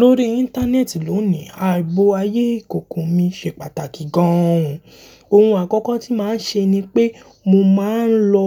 Lórí Íńtánẹ́ẹ̀tì lónìí, ààbò ayé ìkòkò mi ṣe pàtàkì gan òun. Ohun àkọ́kọ́ tí màá ń ṣe ni pé mo ma ń lọ